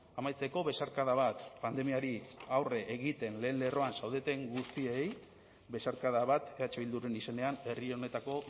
amaitzeko besarkada bat pandemiari aurre egiten lehen lerroan zaudeten guztiei besarkada bat eh bilduren izenean herri honetako